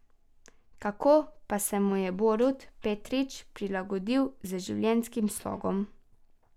Kako pa se mu je Borut Petrič prilagodil z življenjskim slogom?